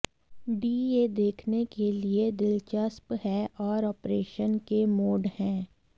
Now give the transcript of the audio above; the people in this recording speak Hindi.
डी यह देखने के लिए दिलचस्प है और आपरेशन के मोड हैं